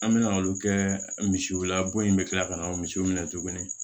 An mɛna olu kɛ misiw la bɔ in bɛ kila ka na misiw minɛ tuguni